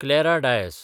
Clara Dias